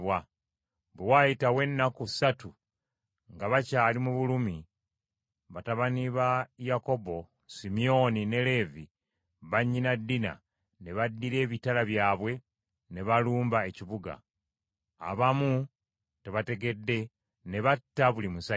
Bwe waayitawo ennaku ssatu, nga bakyali mu bulumi, batabani ba Yakobo: Simyoni ne Leevi bannyina Dina ne baddira ebitala byabwe ne balumba ekibuga, abaamu nga tebategedde, ne batta buli musajja.